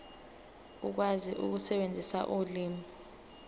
ukwazi ukusebenzisa ulimi